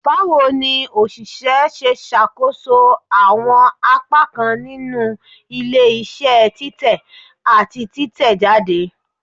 Bawo ni oṣiṣẹ ṣe ṣakoso awọn apakan ninu ile-iṣẹ titẹ ati titẹjade?